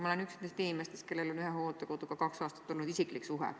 Ma olen üks nendest inimestest, kellel on olnud ühe hooldekoduga kaks aastat isiklik suhe.